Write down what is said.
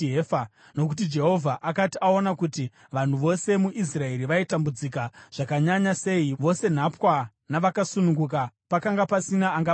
Nokuti Jehovha akanga aona kuti vanhu vose muIsraeri vaitambudzika zvakanyanya sei, vose nhapwa navakasununguka; pakanga pasina angabatsira.